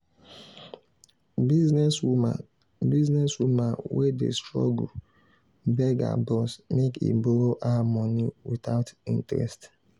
. business woman business woman wey dey struggle beg her boss make he borrow her money without interest.